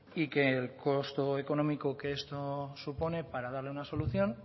y que el costo económico que esto supone para darle una solución